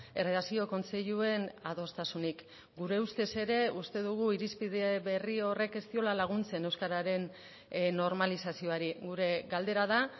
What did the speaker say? erredakzio kontseiluen adostasunik gure ustez ere uste dugu irizpide berri horrek ez diola laguntzen euskararen normalizazioari gure galdera da